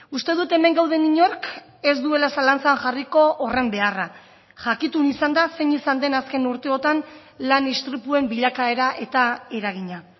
uste dut hemen gauden inork ez duela zalantzan jarriko horren beharra jakitun izanda zein izan den azken urteotan lan istripuen bilakaera eta eragina